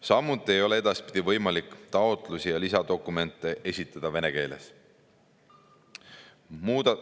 Samuti ei ole edaspidi võimalik taotlusi ja lisadokumente esitada vene keeles.